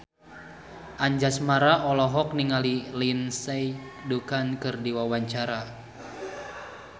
Anjasmara olohok ningali Lindsay Ducan keur diwawancara